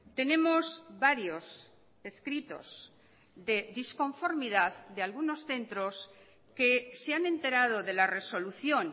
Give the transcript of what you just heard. tenemos varios escritos de disconformidad de algunos centros que se han enterado de la resolución